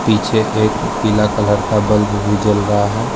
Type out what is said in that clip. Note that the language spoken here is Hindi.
पीछे एक पीला कलर का बल्ब भी जल रहा है।